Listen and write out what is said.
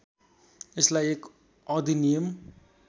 यसलाई एक अधिनियम